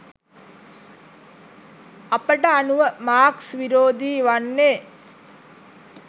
අපට අනුව මාක්ස් විරෝධී වන්නේ